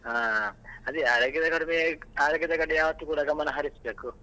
ಹಾ ಅದೇ ಆರೋಗ್ಯ ಆರೋಗ್ಯದ ಕಡೆಗೆ ಯಾವತ್ತೂ ಕೂಡ ಗಮನ ಹರಿಸಬೇಕು.